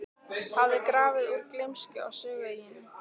hafði grafið úr gleymsku á Sögueyjunni.